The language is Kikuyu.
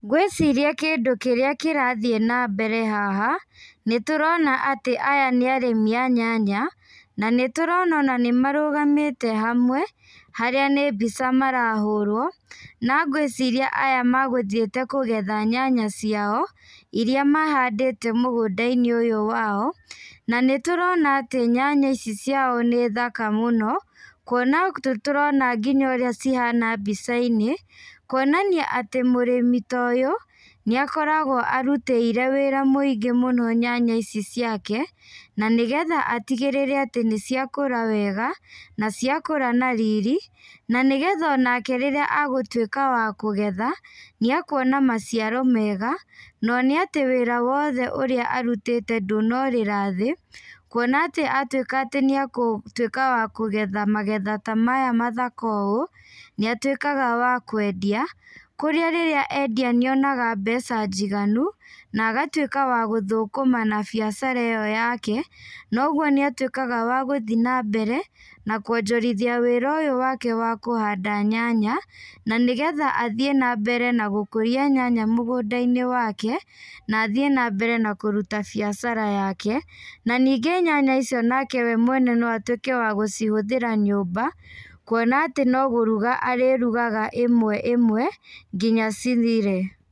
Ngwĩciria kĩndũ kĩrĩa kĩraathiĩ nambere haha, nĩtũrona atĩ aya nĩ arĩmi a nyanya, na nĩtũrona nanĩmarũgamĩte hamwe, harĩa nĩ mbica marahũrwo, na ngwĩciria aya magũthiĩte kũgetha nyanya ciao, iria mahandĩte mũgũnda-inĩ ũyũ wao, na nĩtũrona atĩ nyanya icic ciao nĩ thaka mũno, kuona nĩtũrona ũrĩa cihana mbica-inĩ, kuonanania atĩ mũrĩmi ta ũyũ, nĩakoragwo arutĩire wĩra mũingĩ mũno nyanya ici ciake, na nĩgetha atigĩrĩre nĩciakũra wega, na ciakũra na riri, na nĩgetha onake rírĩa agũtwĩka wa kũgetha, nĩekuona maciaro mega, none atĩwĩra wothe ũrĩa arutĩte ndũnorĩra thĩ, kuona atĩ atwĩka atĩ nĩakũtwĩka wa kũgetha magetha ta maya mathaka ũũ, nĩatwĩkaga wa kwendia, kũrĩa rĩrĩa endia nĩonaga mbeca njiganu, na agatwĩka wa gũthũkũma na biacara ĩyo yake, noguo nĩatwĩkaga wa gúthiĩ nambere na kuonjorithia wĩra ũyũ wake wa kũhanda nyanya, na nĩgetha athiĩ nambere na gũkũria nyanya mũgũnda-inĩ wake, na athiĩ nambere na kũruta biacara yake, na ningĩ nyanya icio nake we mwene noatwĩke wa gũcihũthĩra nyũmba, kuona atĩ nogũruga arĩrugaga ĩmwe ĩmwe nginya cithire.